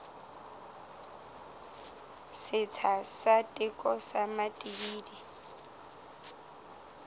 setsha sa teko sa matibidi